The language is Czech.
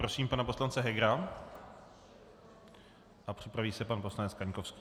Prosím pana poslance Hegera a připraví se pan poslanec Kaňkovský.